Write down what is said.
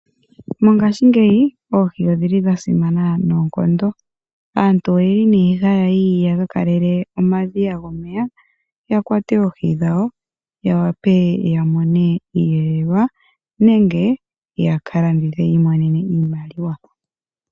Mongashingeyi oohi odhili dhasima noonkondo. Aantu oyeli ne haya yi yaka kalele omadhiya gomeya yakwate oohi dhawo yawape yamone iihelelwa nenge yakalandithe yiimonenemo iimaliwa.